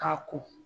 K'a ko